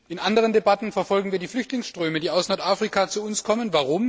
In anderen Debatten verfolgen wir die Flüchtlingsströme, die aus Nordafrika zu uns kommen.